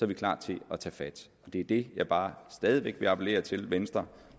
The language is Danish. vi klar til at tage fat og det er det jeg bare stadig væk vil appellere til venstre